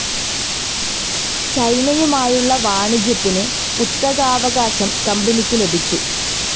ചൈനയുമായുളള വാണിജ്യത്തിന് കുത്തകാവകാശം കമ്പനിക്കു ലഭിച്ചു.